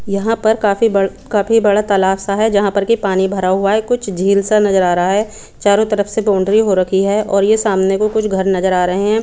यहाँ पर काफी बड काफी बड़ा तलब सा है जहा पर की पाणी भरा हुआ है कुछ झील सा नजर आ रहा है चारो तरफ से बौन्दरी हो रखी है और ये सामने को कुछ घर नजर आ रहे है।